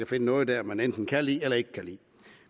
finde noget der man enten kan lide eller ikke kan lide